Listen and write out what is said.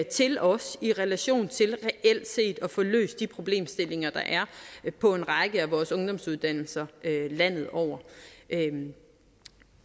til os i relation til reelt set at få løst de problemstillinger der er på en række af vores ungdomsuddannelser landet over jeg